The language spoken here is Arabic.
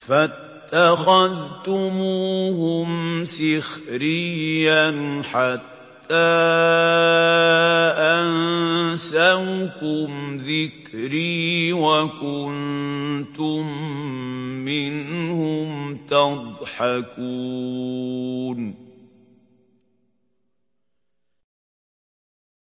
فَاتَّخَذْتُمُوهُمْ سِخْرِيًّا حَتَّىٰ أَنسَوْكُمْ ذِكْرِي وَكُنتُم مِّنْهُمْ تَضْحَكُونَ